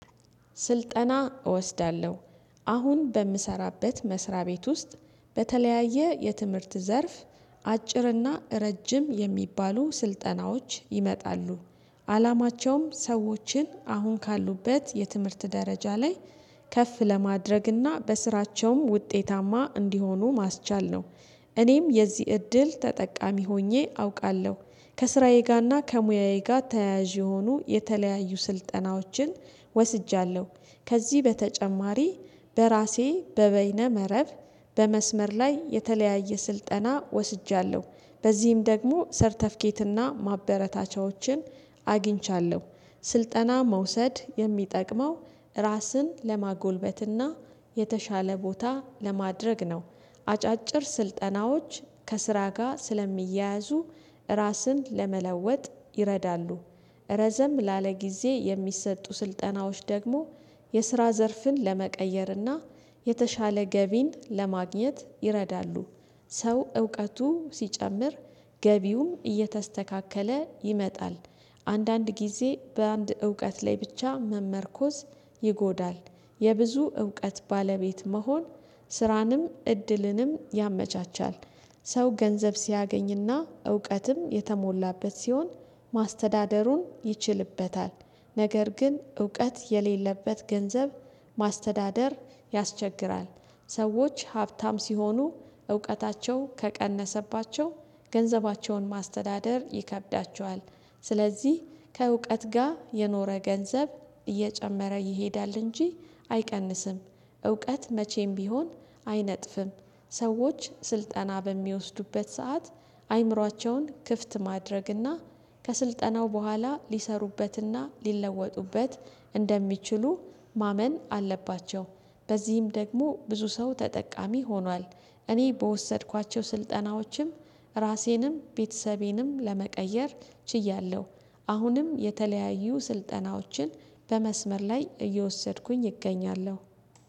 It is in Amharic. ስልጠና እወስዳለሁ አሁን በምሰራበት መስሪያ ቤት ውስጥ በተለያየ የትምህርት ዘርፍ አጭርና ረጅም የሚባሉ ስልጠናዎች ይመጣሉ። አላማቸውም ሰዎችን አሁን ካሉበት የትምህርት ደረጃ ላይ ከፍ ለማድረግና በስራቸውም ውጤታማ እንዲሆኑ ማስቻል ነው። እኔም የዚህ እድል ተጠቃሚ ሆኜ አውቃለሁ። ከስራዬ ጋርና ከሙያዬ ጋር ተያያዥ የሆኑ የተለያዩ ስልጠናዎችን ወስጃለሁ። ከዚህ በተጨማሪ በራሴ በበይነ መረብ በመስመር ላይ የተለያየ ስልጠና ወስጃለሁ በዚህም ደግሞ ሰርተፊኬትና ማበረታቻዎችን አግኝቻለሁ። ስልጠና መውሰድ የሚጠቅመው ራስን ለማጎልበትና የተሻለ ቦታ ለማድረግ ነው። አጫጭር ስልጠናዎች ከስራ ጋር ስለሚያያዙ ራስን ለመለወጥ ይረዳሉ። ረዘም ላለ ጊዜ የሚሰጡ ስልጠናዎች ደግሞ የስራ ዘርፍን ለመቀየርና የተሻለ ገቢን ለማግኘት ይረዳሉ። ሰው እውቀቱ ሲጨምር ገቢውም እየተስተካከለ ይመጣል። አንዳንድ ጊዜ በአንድ እውቀት ላይ ብቻ መመርኮዝ ይጎዳል። የብዙ እውቀት ባለቤት መሆን ስራንም እድልንም ያመቻቻል። ሰው ገንዘብ ሲያገኝና እውቀትም የተሞላበት ሲሆን ማስተዳደሩን ይችልበታል። ነገር ግን እውቀት የሌለበት ገንዘብ ማስተዳደር ያስቸግራል። ሰዎች ሀብታም ሲሆኑ እውቀታቸው ከቀነሰባቸው ገንዘባቸውን ማስተዳደር ይከብዳቸዋል። ስለዚህ ከእውቀት ጋር የኖረ ገንዘብ እየጨመረ ይሄዳል እንጂ አይቀንስም። እውቀት መቼም ቢሆን አይነጥፍም። ሰዎች ስልጠና በሚወስዱበት ሰዓት አይምሯቸውን ክፍት ማድረግና ከስልጠናው በኋላ ሊሰሩበትና ሊለወጡበት እንደሚችሉ ማመን አለባቸው። በዚህም ደግሞ ብዙ ሰው ተጠቃሚ ሆኗል። እኔ በወሰድኳቸው ስልጠናዎችም ራሴንም ቤተሰቤንም ለመቀየር ችያለሁ። አሁንም የተለያዩ ስልጠናዎችን በመስመር ላይ እየወሰድኩኝ እገኛለሁ